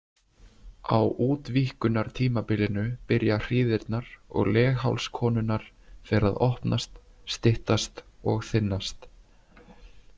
Á útvíkkunartímabilinu byrja hríðirnar og legháls konunnar fer að opnast, styttast og þynnast.